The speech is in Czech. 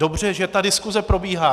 Dobře, že ta diskuse probíhá.